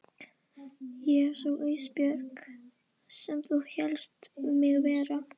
Ég er sú Ísbjörg sem þú hélst mig vera.